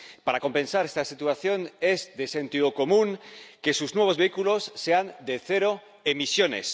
Para compensar esta situación es de sentido común que sus nuevos vehículos sean de cero emisiones.